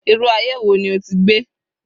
Irú aye wo ni o ti gbé?